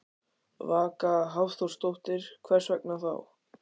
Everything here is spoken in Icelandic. Vaka Hafþórsdóttir: Hvers vegna þá?